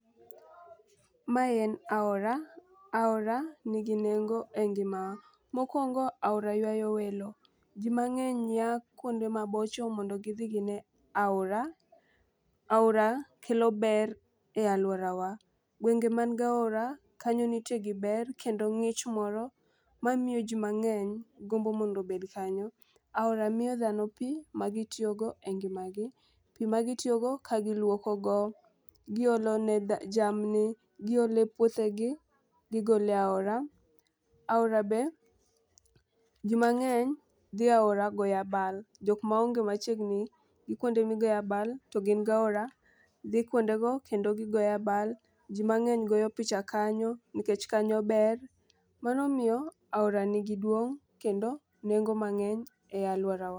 Mae en aora, aora nigi nengo e ngimawa. Mokwongo aora ywayo welo ,jii mang'eny yaa kuonde mabocho mondo gidhi gine oara. Aora kelo ber e aluorawa. Gwenge man gaora kanyo nitie gi ber kendo ng'ich moro mamiyo jii mang'eny gombo mondo obed kanyo. Aora miyo dhano pii ma gitiyo go e ngimagi, pii magitiyo go ka giluoko go giolo ne dha jamni giole puothegi gigole aora. Aora be jii mang'eny dhi aora goya abal jok maonge machiegni gi kuonde migoye abal to gin gaora dhi kuonde go kendo gigoya abal . Jii mang'eny goyo picha kanyo nikech kanyo ber. Koro omiyo aora nigi duong' kendo nengo mang'eny e aluorawa.